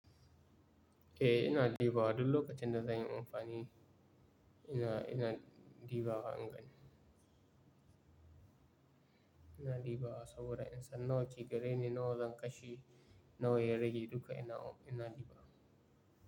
Eh, ina dibawa duk lokacin da zan yi amfani ina ina dibawa in gani. Ina dibawa saboda in san nawa ke gare ni, nawa zan kashe nawa ya rage duka ina dibawa.